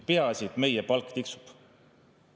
Peaasi, et meie palk tiksub.